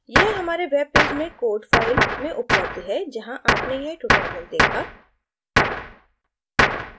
यह हमारे web page में code file में उपलब्ध है जहाँ आपने यह tutorial देखा